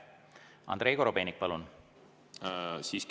Andrei Korobeinik, palun!